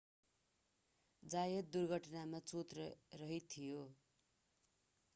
जायत दुर्घटनामा चोटरहित थियो